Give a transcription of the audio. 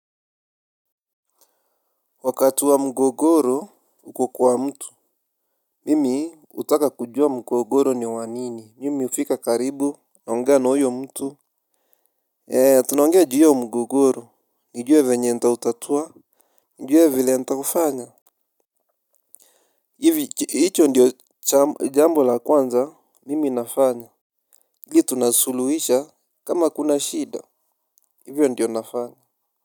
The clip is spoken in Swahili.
Wakati wa mgogoro uko kwa mtu. Mimi hutaka kujua mgogoro ni wa nini mimi hufika karibu, naongea na huyo mtu. Eee tunaongea juu ya mgogoro nijue venye nitautatua. Nijue vile ntavyofanya. Hivi hicho ndiyo jambo la kwanza mimi nafanya. Hili tunasuluisha kama kuna shida hivyo ndiyo nafanya.